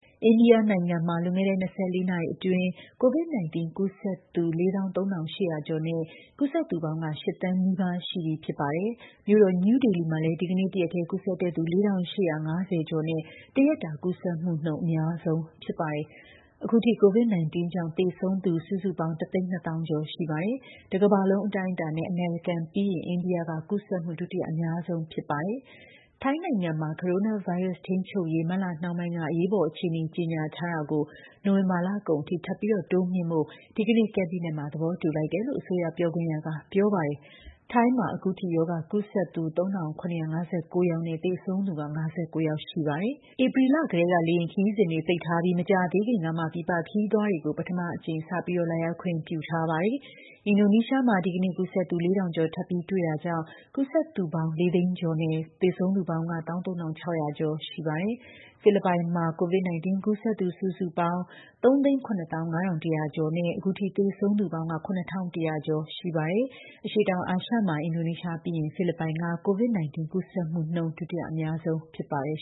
အိန္ဒိယနိုင်ငံမှာ လွန်ခဲ့တဲ့ ၂၄ နာရီအတွင်း COVID-19 ကူးစက်သူ ၄၃,၈၀၀ ကျော်နဲ့ ကူးစက်သူပေါင်း ၈,၀၀၀,၀၀၀ နီးပါးရှိနေပြီဖြစ်ပါတယ်။ မြို့တော် New Delhi မှာလည်း ဒီကနေ့ တရက်ထဲ ကူးစက်တဲ့သူ ၄,၈၅၀ ကျော်နဲ့ တရက်တာကူးစက်မှုနှုန်း အများဆုံးဖြစ်နေတာပါ။ အခုထိ COVID-19 ကြောင့်သေဆုံးသူ စုစုပေါင်း ၁၂၀,၀၀၀ ကျော်ရှိပါတယ်။ တကမ္ဘာလုံးအတိုင်းအတာနဲ့ အမေရိကန်ပြီးရင် အိန္ဒိယက ကူးစက်မှုဒုတိယအများဆုံးဖြစ်ပါတယ်။ ထိုင်းနိုင်ငံမှာ ကိုရိုနာဗိုင်းရပ်စ်ထိန်းချုပ်ရေး မတ်လနှောင်းပိုင်းက အရေးပေါ်အခြေအနေကြေညာထားတာကို နိုဝင်ဘာလကုန်ထိ ထပ်ပြီးတိုးမြှင့်ဖို့ ဒီကနေ့ ကက်ဘိနက်မှာ သဘောတူ လိုက်တယ်လို့ အစိုးရပြောခွင့်ရက ပြောပါတယ်။ ထိုင်းမှာ အခုထိ ရောဂါကူးစက်သူ ၃,၇၅၉ ယောက်နဲ့ သေဆုံးသူ ၅၉ ယောက်ရှိပါတယ်။ ဧပြီလကတည်းက လေယာဉ်ခရီးစဉ်တွေပိတ်ထားပြီး မကြာသေးခင်ကမှ ပြည်ပခရီးသွားတွေကို ပထမအကြိမ် စပြီးလာရောက်ခွင့်ပြုထားပါတယ်။ အင်ဒိုနီးရှားမှာ ဒီကနေ့ ကူးစက်သူ ၄,၀၀၀ ကျော်ထပ်ပြီးတွေ့တာကြောင့် ကူးစက်သူပေါင်း ၄၀၀,၀၀၀ ကျော်နဲ့ သေဆုံးသူပေါင်း ၁၃,၆၀၀ ကျော်ရှိပါတယ်။ ဖိလစ်ပိုင်မှာ COVID-19 ကူးစက်သူ စုစုပေါင်း ၃၇၅,၁၀၀ ကျော်နဲ့ အခုထိသေဆုံးသူပေါင်း ၇,၁၀၀ ကျော်ရှိပါတယ်။ အရှေ့တောင်အာရှမှာ အင်ဒိုနီးရှားပြီးရင် ဖိလစ်ပိုင်က COVID-19 ကူးစက်မှုနှုန်း ဒုတိယအများဆုံးဖြစ်ပါတယ်